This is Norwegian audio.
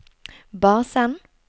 basen